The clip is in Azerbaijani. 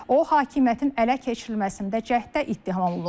O hakimiyyətin ələ keçirilməsində cəhddə ittiham olunur.